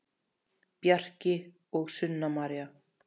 Bjarki og Sunna María.